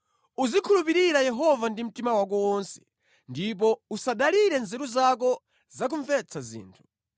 Uzikhulupirira Yehova ndi mtima wako wonse ndipo usadalire nzeru zako za kumvetsa zinthu.